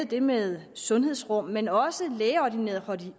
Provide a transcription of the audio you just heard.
det med sundhedsrum men også lægeordineret